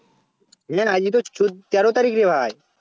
না না আজকে তো চৌদ্দ তের তারিখ রে ভাই